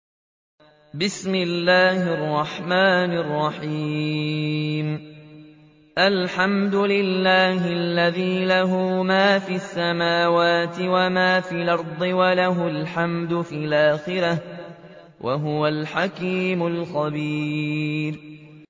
الْحَمْدُ لِلَّهِ الَّذِي لَهُ مَا فِي السَّمَاوَاتِ وَمَا فِي الْأَرْضِ وَلَهُ الْحَمْدُ فِي الْآخِرَةِ ۚ وَهُوَ الْحَكِيمُ الْخَبِيرُ